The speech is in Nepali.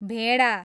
भेडा